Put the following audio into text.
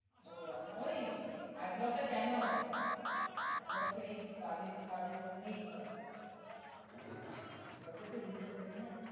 ওহ আচ্ছা heart block টা কেন হয়? heart block তো এই বাজে কাজের জন্যই হয় heart block এ তো reason থাকে না?